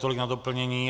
Tolik na doplnění.